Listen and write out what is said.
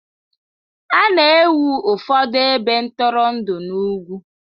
A na-ewu ụfọdụ ebe ntụrụndụ n'ugwu.